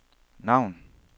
navn